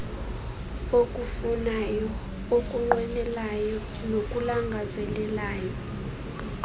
okufunayo okunqwenelayo nokulangazelelayo